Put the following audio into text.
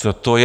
Co to je?